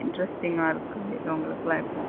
Intersting ஆ இருக்கு அவுங்களுக்கு எல்லா இப்போ.